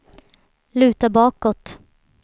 luta bakåt